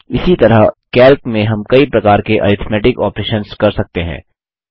इसी तरह कैल्क में हम कई प्रकार के अरिथ्मेटिक ऑपरेशन्स कर सकते हैं